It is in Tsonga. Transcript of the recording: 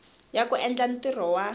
ya ku endla ntirho wa